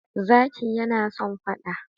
Zaki yana son fada.